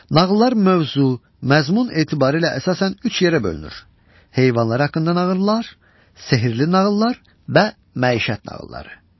Nağıllar mövzu, məzmun etibarilə əsasən üç yerə bölünür: heyvanlar haqqında nağıllar, sehirli nağıllar və məişət nağılları.